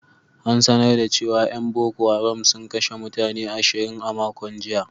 An sanar da cewa ‘yan Boko Haram sun kashe mutane ashirin a makon jiya.